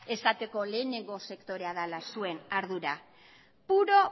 esateko lehenengo sektorea dela zuen ardura puro